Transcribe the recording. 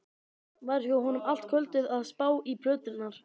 Var hjá honum allt kvöldið að spá í plöturnar.